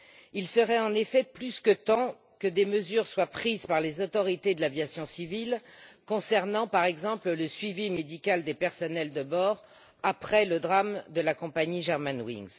Il serait en effet plus que temps que des mesures soient prises par les autorités de l'aviation civile concernant, par exemple, le suivi médical du personnel de bord, après le drame de la compagnie Germanwings.